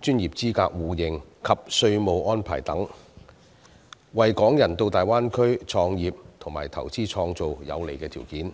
專業資格互認及稅務安排等，為港人到大灣區創業和投資創造有利條件。